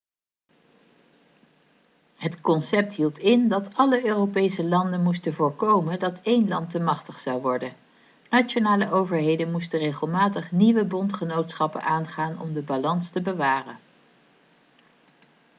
het concept hield in dat alle europese landen moesten voorkomen dat één land te machtig zou worden nationale overheden moesten regelmatig nieuwe bondgenootschappen aangaan om de balans te bewaren